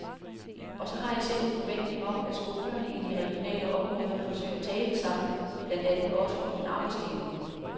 Og så har jeg selv en forventning om, at skolerne i de regionale områder forsøger at tale sammen, blandt andet også om en arbejdsdeling.